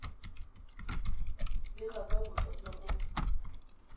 bega ka boswa jwa motho